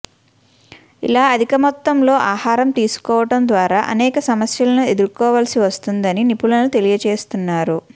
ఇలా అధిక మొత్తంలో ఆహారం తీసుకోవడం ద్వారా అనేక సమస్యలను ఎదుర్కోవలసి వస్తుందని నిపుణులు తెలియజేస్తున్నారు